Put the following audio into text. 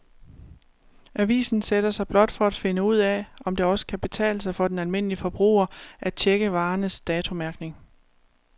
Avisen sætter sig blot for at finde ud af, om det også kan betale sig for den almindelige forbruger at checke varernes datomærkning.